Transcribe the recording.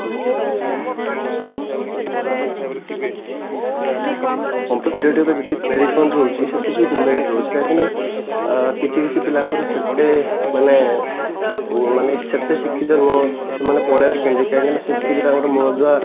competitive ରେ ଯେତିକି merit ରହୁଛି ସେତିକି demerit ରହୁଛି କାହିଁକି ନା ଅ କିଛି କିଛି ପିଲାଙ୍କର ସେତେ ମାନେ ଅ ମାନେ ସେତେ ଶିକ୍ଷିତ ନୁହଁ କି ସେମାନେ ପଳେଇଆସୁଛନ୍ତି କାହିଁକି ନା ସେତିକି ତାଙ୍କର ମୂଳଦୁଆ